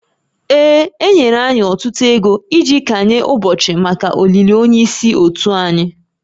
Ee, e nyere anyị ọtụtụ oge iji kanye ụbọchị maka olili onye isi òtù anyị